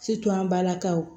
an balakaw